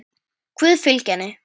Guð fylgi henni.